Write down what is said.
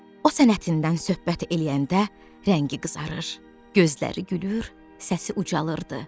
O sənətindən söhbət eləyəndə rəngi qızarır, gözləri gülür, səsi ucalırdı.